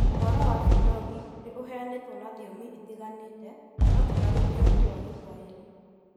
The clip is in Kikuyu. Ũhoro wa Binogi nĩ ũheanĩtwo na thiomi itiganĩte, no ti na rũthiomi rwa Gĩthwaĩri.